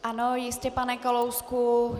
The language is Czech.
Ano, jistě, pane Kalousku.